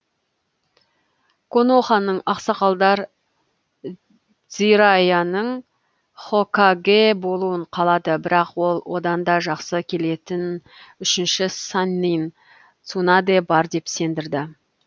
коноханың ақсақалдар дзираяның хокагэ болуын қалады бірақ ол одан да жақсы келетін үшінші саннин цунадэ бар деп сендірді